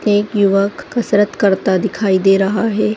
एक युवक कसरत करता दिखाई दे रहा है।